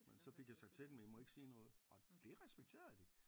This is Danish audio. Men så fik jeg sagt til dem I må ikke sige noget og det respekterede de